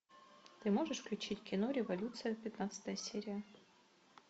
ты можешь включить кино революция пятнадцатая серия